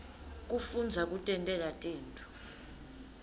kufundza kutentela tintfo